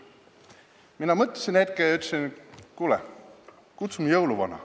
Mina mõtlesin hetke ja ütlesin, et kuule, kutsume jõuluvana.